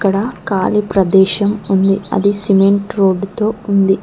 అక్కడ ఖాళీ ప్రదేశం ఉంది అది సిమెంట్ రోడ్ తో ఉంది.